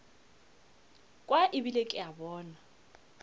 kwa ebile ke a bona